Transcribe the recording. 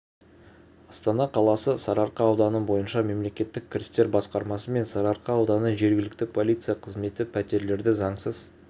астана қаласы сарыарқа ауданы бойынша мемлекеттік кірістер басқармасы мен сарыарқа ауданы жергілікті полиция қызметі пәтерлерді заңсыз